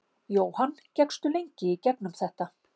Jóhann: Gekkstu lengi í gegnum þetta?